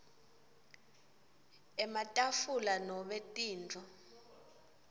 ematafula nobe tintfo